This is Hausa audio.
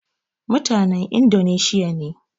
Mutanen Indoneshiya ne